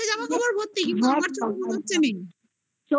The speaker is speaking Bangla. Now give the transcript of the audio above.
জামা কাপড় ভর্তি, কিন্তু আমার চোখে মনে হচ্ছে মেন চোখে